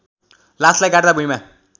लासलाई गाड्दा भुइँमा